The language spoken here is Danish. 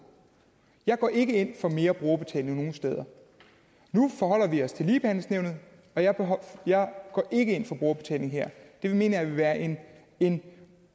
jeg går ikke ind for mere brugerbetaling nogen steder nu forholder vi os til ligebehandlingsnævnet og jeg går ikke ind for brugerbetaling her det mener jeg vil være en en